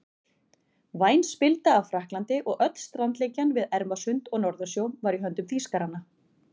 Væn spilda af Frakklandi og öll strandlengjan við Ermarsund og Norðursjó var í höndum Þýskaranna.